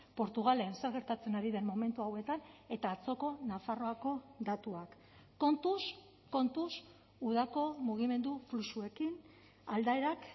portugalen zer gertatzen ari den momentu hauetan eta atzoko nafarroako datuak kontuz kontuz udako mugimendu fluxuekin aldaerak